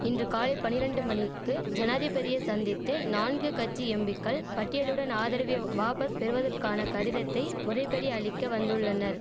இன்று காலை பனிரெண்டு மணிக்கு ஜனாதிபதியை சந்தித்து நான்கு கட்சி எம்பிக்கள் பட்டியலுடன் ஆதரவை வாபஸ் பெறுவதற்கான கடிதத்தை முறைபடி அளிக்க வந்துள்ளனர்